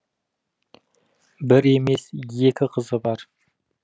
бір емес екі қызы бар